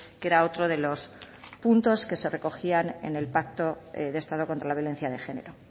que era otro de los puntos que se recogían en el pacto de estado contra la violencia de género